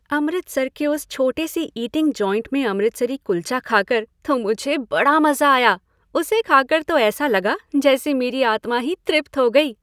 अमृतसर के उस छोटे से ईटिंग जॉइंट में अमृतसरी कुल्चा खाकर तो मुझे बड़ा मज़ा आया। उसे खाकर तो ऐसा लगा जैसे मेरी आत्मा ही तृप्त हो गई।